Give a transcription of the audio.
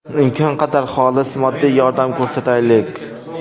Imkon qadar xolis moddiy yordam ko‘rsataylik.